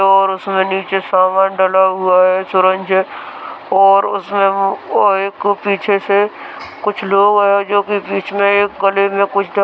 और नीचे सामान डला हुआ है और उसमें वो एक पीछे से कुछ लोग आये है जो की बीच में एक में कुछ --